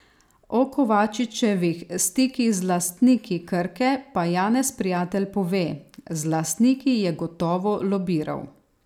O Kovačičevih stikih z lastniki Krke pa Janez Prijatelj pove: 'Z lastniki je gotovo lobiral.